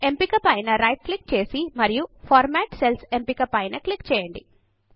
ఎంపిక పైన right click చేసి మరియు ఫార్మాట్ సెల్స్ ఎంపిక పైన క్లిక్ చేయండి